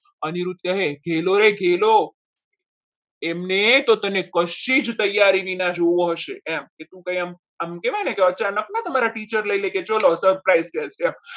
અનિરુદ્ધ કહે ઘેલો રે ઘેલો એમને તો તને કશી જ તૈયારી વિના જોવો હશે એમ કે તું એમ આમ કહેવાય ને teacher લઈ લે કે ચાલો surprise છે આમ